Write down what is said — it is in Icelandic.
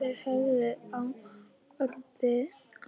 Þeir höfðu á orði